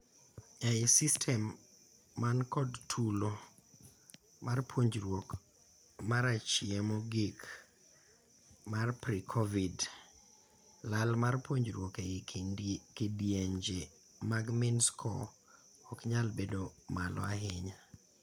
Ei systems man kod tulo mar puonjruok marachie mogik mar pre-COVID, lal mar puonjruok ei kidienje mag mean scores oknyal bedo malo ahinya.